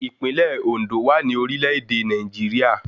Ìpínlẹ̀ Òndó wà ní orílẹ̀ èdè Nàìjíríà